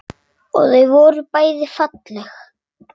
Og þau voru bæði falleg.